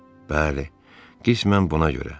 Bəli, qismən buna görə.